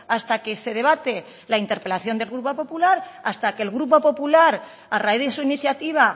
hasta que se debate la interpelación de grupo popular hasta que el grupo popular a raíz de su iniciativa